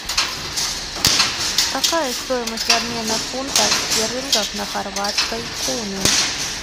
какая стоимость обмена фунта стерлингов на хорватской куны